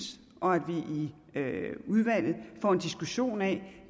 og at vi i udvalget får en diskussion af